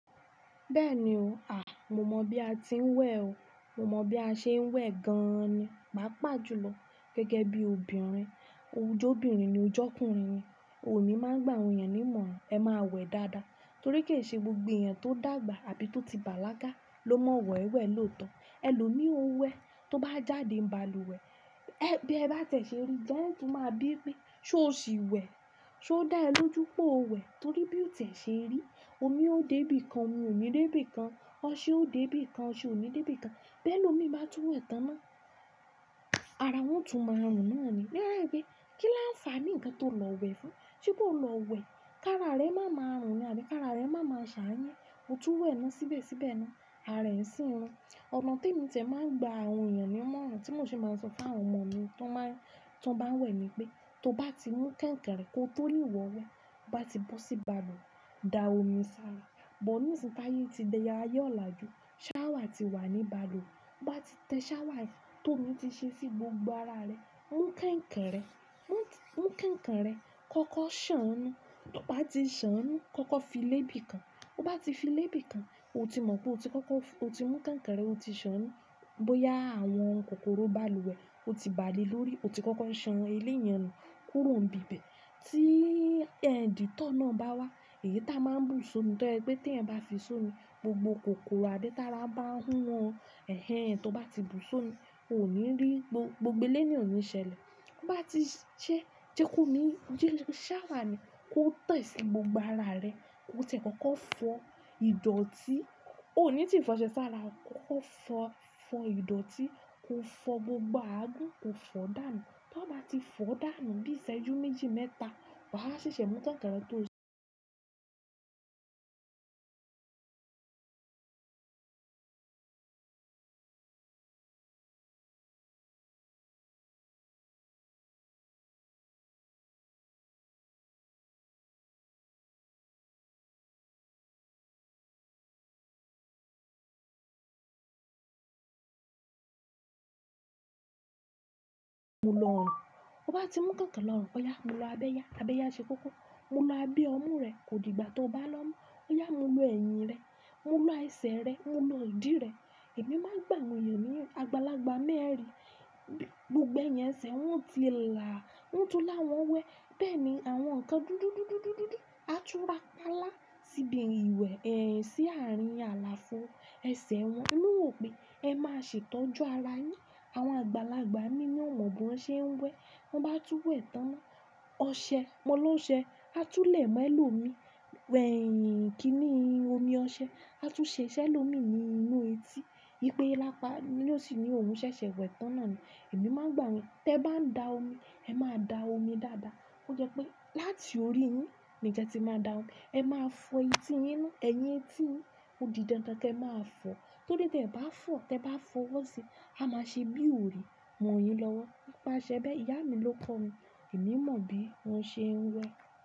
Bẹ́ẹ̀ni o. À, mo mọ bí a ti ń wẹ̀ o. Mo mọ bí a ṣe ń wẹ̀ gan ni. Pá pà jù lọ gẹ́gẹ́ bí obìnrin. Oje obìnrin ni oje ọkùnrin ni. Emí máa ń gbà àwọn èèyàn ní ìmọ̀ràn. Ẹ má wẹ̀ dáadáa torí kì í ṣe gbogbo èèyàn tó dàgbà àbí tó ti bàlágà ló mọ wẹ̀ wẹ̀ lóòótọ́. Ẹ lò ní o wẹ̀, tó bá jáde ní balùwẹ̀, ẹ bí ẹ bá tẹ̀ ṣe rí, dáhùn tún máa bí pé ṣé o ṣì wẹ̀? Ṣé ó dá ẹ lójú pé o wẹ̀? Torí bí o tẹ̀ ṣe rí, omi ó dé bí kan, omi ò ní dé bí kan. Ọṣẹ ó dé bí kan, oṣẹ ò ní dé bí kan. Bẹ́ẹ̀ lòmi bá tú wẹ̀ tán ná. Ara wọn tún máa run náà ni. Ní ero pé kí la ń fa ní ǹkan tó lọ wẹ̀ fún? Ṣé bó o lọ wẹ̀, ká ara rẹ má máa run ni àbí ká ara rẹ má máa ṣà yẹn. Ó tú wẹ̀ ná síbẹ̀síbẹ̀ ná, ara rẹ̀ ń sín run. Ọ̀nà tí èmi tẹ̀ máa ń gba àwọn èèyàn ní ìmọ̀ràn tí mò ṣe máa sọ fún àwọn ọmọ mi tí wọ́n bá, tí wọ́n bá ń wẹ̀ ni pé tó bá ti mú kẹ̀ǹkẹ̀rẹ́ kó tó rí wọ̀ wẹ, ó bá ti bó sí balùwẹ̀, da omi sára. Òò. Ṣàwà ti wà ní balùwẹ̀, ó bá ti tẹ Ṣàwà tó omi ti ṣe sí gbogbo ara rẹ, mú kẹ̀ǹkẹ̀rẹ́, mú, mú kẹ̀ǹkẹ̀rẹ́ kọ́kọ́ ṣàn ánú. Tó bá ti ṣàn ánú, kọ́kọ́ fi lé bí kan. Ó bá ti fi lé bí kan, o ti mọ̀ pé o ti kọ́kọ́ f-- o ti mú kẹ̀ǹkẹ̀rẹ́, o ti ṣàn ánú. Bóyá àwọn kòkòrò balùwẹ̀ ó ti bà lé lórí, o ti kọ́kọ́ san eléyàn nù kúrò níbi ibẹ̀. Tí dettol náà bá wá, èyí táa máa bù sún ni tọ́ ẹ pé tí ẹ̀ bá fi sún ni gbogbo kòkòrò abi tara ba ń hun ọ, ẹ̀hen tí o bá ti bù so mi, o ò ní rí, gbogbo eléni ò ní ṣẹlẹ̀. To bá ti ṣẹ́, jẹ kó ni, jẹ Ṣàwà ni kó tẹ̀ sí gbogbo ara rẹ, kó tẹ̀ kọ́kọ́ fọ ìdọ̀tí, o ò ní tìí fọ ṣẹ́ sára, kọ́kọ́ fọ, fọ ìdọ̀tí, kó fọ gbogbo àágù, kó fọ dànù. Tó bá ti fọ dànù, bí iṣẹ́ yó méjì mẹ́ta, wàá ṣẹ̀ṣẹ̀ mú kẹ̀ǹkẹ̀rẹ́ tó ń ṣẹ́. Mo lọ ọ̀nà. Ó bá ti mú kẹ̀ǹkẹ̀rẹ́ lọ́kọ̀ ya, mo lọ abẹ́ yá, abẹ́ yá ṣe kókó. Mo lọ abí ọmú rẹ, kò dìgbà tí o bá lọ mú. Ó yá múlọ ẹ̀yìn rẹ, múlọ ẹsẹ̀ rẹ, múlọ òdì rẹ. Ẹ̀mí máa ń gbà àwọn èèyàn ní àgbàlagbà mẹ́rin, gbogbo ẹ̀yinb ẹṣẹ̀ wọ́n o ti là á, wọn tún lá wọn wẹ̀. Bẹ́ẹ̀ ni àwọn nǹkan dúdúdúdúdúdú a túra pá lá síbi ìwẹ̀ ẹ́ sí àárín àlàáfo. Ẹ̀ṣẹ̀ wọn ló wọ̀ pé ẹ máa ṣètọ́jú ara yín. Àwọn àgbàlagbà mí ní wọ́n mọ bí wọ́n ṣe ń wẹ̀. Tan bá tú wẹ̀ tán ná, ọṣẹ, mọ́ lọ́ ṣẹ, a túlẹ̀ mọ́ ẹ lòmi. Ẹ̀yìn kì í ní omi ọṣẹ. A tún ṣẹ̀ṣẹ̀ lòmi ní inú etí. Ipe lápá ló sì ni òun ṣẹ̀ṣẹ̀ wẹ̀ tán náà ni. Ẹ̀mí máa ń gbà wí pé tẹ bá ń da omi, ẹ má da omi dáadáa. Ko jẹ́ pé láti orí yín ni kẹ ti máa da omi. Ẹ máa fọ etí yín nù, ẹ̀yín, etí, odì dandan kí ẹ máa fọ. Torí tí ẹ bá fọ, tí ẹ bá fọwọ́ sí, a máa ṣe bí òrì mọ́ yín lọ́wọ́. Ó máa ṣẹ́ bẹ́ẹ̀. Ìyá mi ló kọ́ mi. Ẹ̀mí mọ bí wọ́n ṣe ń wẹ̀.